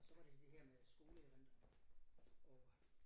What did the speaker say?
Og så var det det her med skoleerindringerne og